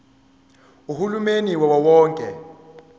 uhulumeni wawo wonke